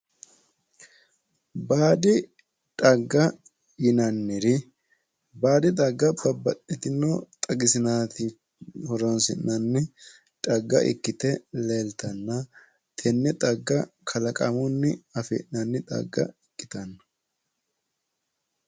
Baadi xagga yinanniri baadi xagga babbaxitino xagisinanni xaga horo ikkite leelittanotta ikkittanna tene xagga kalaqamunni afinanni xagga ikkittano.